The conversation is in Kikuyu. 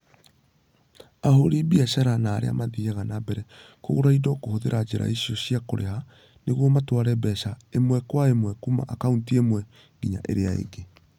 Ahũri biacara na arĩa mathiaga na mbere kũgũra indo kũhũthĩra njĩra icio cia kũrĩha nĩguo matware mbeca ĩmwe kwa ĩmwe kuuma akaunti ĩmwe nginya ĩrĩa ĩngĩ.